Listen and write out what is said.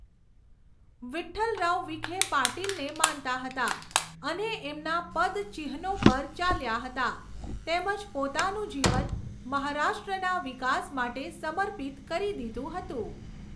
વિઠ્ઠલરાવ વિખે પાટિલને માનતા હતા અને એમના પદચિહ્નો પર ચાલ્યાં હતાં તેમજ પોતાનું જીવન મહારાષ્ટ્રના વિકાસ માટે સમર્પિત કરી દીધું હતું.